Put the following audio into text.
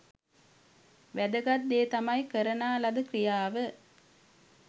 වෑදගත් දේ තමයි කරනා ලද ක්‍රියාව